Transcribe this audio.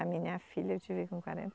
A minha filha eu tive com quarenta